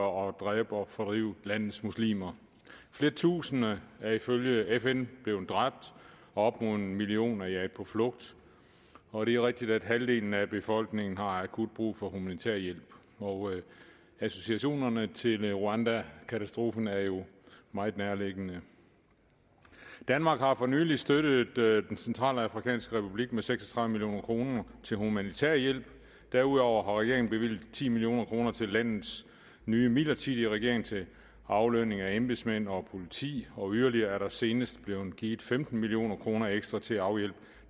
og dræbe og fordrive landets muslimer flere tusinde er ifølge fn blevet dræbt op imod en million er jaget på flugt og det er rigtigt at halvdelen af befolkningen har akut brug for humanitær hjælp associationerne til rwanda katastrofen er jo meget nærliggende danmark har for nylig støttet den centralafrikanske republik med seks og tredive million kroner til humanitær hjælp derudover har regeringen bevilget ti million kroner til landets nye midlertidige regering til aflønning af embedsmænd og politi og yderligere er der senest blevet givet femten million kroner ekstra til at afhjælpe